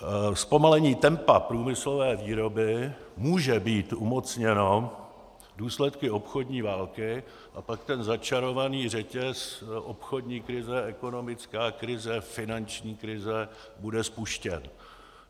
Zpomalení tempa průmyslové výroby může být umocněno důsledky obchodní války a pak ten začarovaný řetěz - obchodní krize, ekonomická krize, finanční krize - bude spuštěn.